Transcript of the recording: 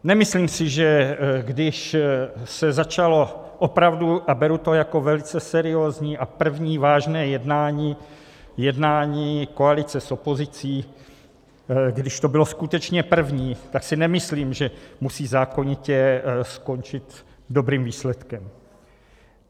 Nemyslím si, že když se začalo opravdu - a beru to jako velice seriózní a první vážné jednání koalice s opozicí, když to bylo skutečně první, tak si nemyslím, že musí zákonitě skončit dobrým výsledkem.